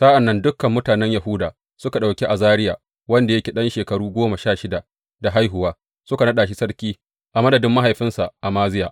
Sa’an nan dukan mutanen Yahuda suka ɗauki Azariya, wanda yake ɗan shekaru goma sha shida da haihuwa, suka naɗa shi sarki a madadin mahaifinsa Amaziya.